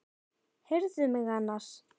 Heyrðu mig annars!